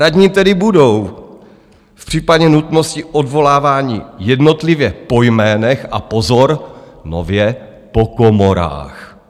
Radní tedy budou v případě nutnosti odvoláváni jednotlivě po jménech, a pozor, nově po komorách.